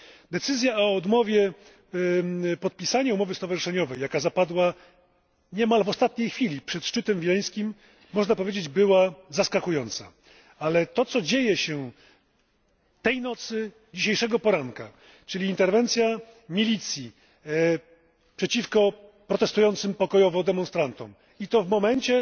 Decyzja o odmowie podpisania umowy stowarzyszeniowej, jaka zapadła niemal w ostatniej chwili przed szczytem wileńskim, była zaskakująca, ale to co dzieje się tej nocy, dzisiejszego poranka, czyli interwencja milicji przeciwko protestującym pokojowo demonstrantom i to w momencie,